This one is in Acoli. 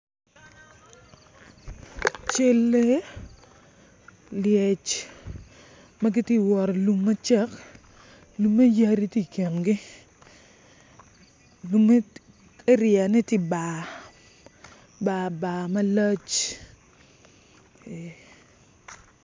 Cal lee lyec ma gitye ka wot i lum macek lumme yadi tye i kingi lume ariane tye bar barbar malac.